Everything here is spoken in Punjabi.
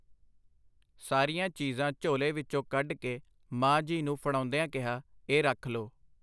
ਸਾਰੀਆਂ ਚੀਜ਼ਾਂ ਝੋਲੇ ਵਿੱਚੋਂ ਕੱਢ ਕੇ ਮਾਂ ਜੀ ਨੂੰ ਫੜਾਉਂਦਿਆਂ ਕਿਹਾ, ਇਹ ਰੱਖ ਲੋ.